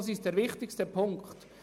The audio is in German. Das ist der wichtigste Punkt.